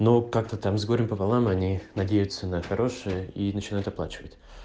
ну как-то там с горем пополам и они надеются на хорошее и начинают оплачивать